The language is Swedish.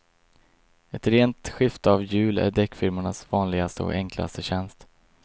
Ett rent skifte av hjul är däckfirmornas vanligaste och enklaste tjänst.